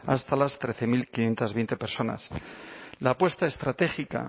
hasta las trece mil quinientos veinte personas la apuesta estratégica